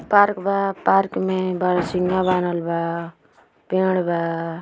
Park बा park में बारहसिंगा बान्हल बा पेड़ बा।